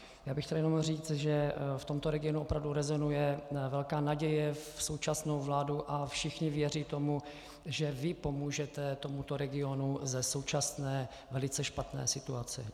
Já bych chtěl jenom říct, že v tomto regionu opravdu rezonuje velká naděje v současnou vládu a všichni věří tomu, že vy pomůžete tomuto regionu ze současné velice špatné situace.